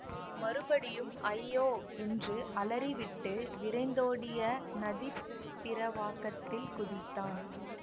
மறுபடியும் ஐயோ என்று அலறி விட்டு விரைந்தோடிய நதிப் பிரவாகத்தில் குதித்தான்